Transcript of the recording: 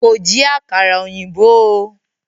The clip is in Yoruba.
Kò jí àkàrà ọ̀yìnbó o.